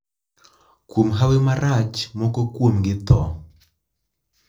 Kuom hawi marach moko kuomgi tho.